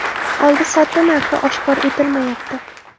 Oldi-sotdi narxi oshkor etilmayapti.